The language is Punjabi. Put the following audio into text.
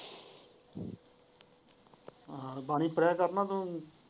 ਹਾਂ ਬਾਣੀ ਪੜਿਆ ਕਰ ਨਾ ਤੋਂ।